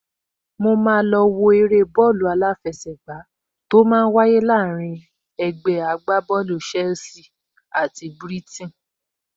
Mo máa lọ wo eré bọ́ọ̀lù aláfẹsẹ̀gbá tó máa wáyé láàrín ẹgbẹ́ agbábọ́ọ̀lù Chelsea àti Brighton